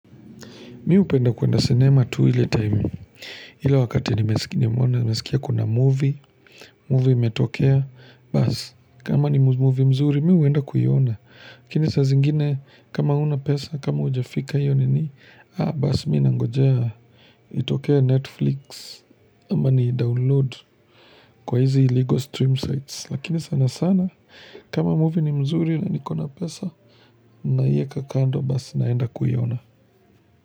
Mimi hupenda kuenda sinema tu ile time, ile wakati nimeona nimesikia kuna movie, movie imetokea Bas, kama ni movie mzuri, mimi huenda kuiona, lakini saa zingine kama huna pesa, kama haujafika hiyo nini Ah, bas, mimi nangojea itokee Netflix, ama niidownload kwa izi illegal stream sites lakini sana sana, kama movie ni mzuri na nikona pesa, naiweka kando bas naenda kuiona.